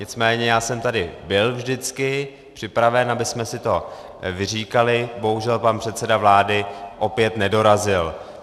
Nicméně já jsem tady byl vždycky připraven, abychom si to vyříkali, bohužel, pan předseda vlády opět nedorazil.